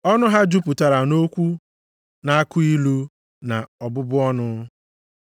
Ọnụ ha jupụtara nʼokwu na-akụ ilu na ọbụbụ ọnụ. + 3:14 \+xt Abụ 10:7\+xt*